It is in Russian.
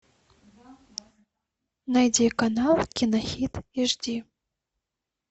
найди канал кино хит аш ди